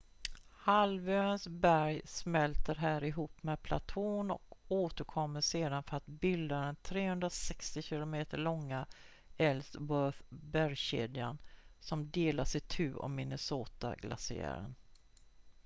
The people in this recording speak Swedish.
halvöns berg smälter här ihop med platån och återkommer sedan för att bilda den 360 km långa ellsworth-bergskedjan som delas itu av minnesota-glaciären